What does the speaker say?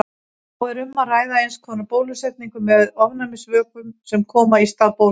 Þá er um að ræða eins konar bólusetningu með ofnæmisvökum sem koma í stað bóluefnis.